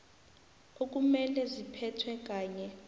okumele ziphethwe kanye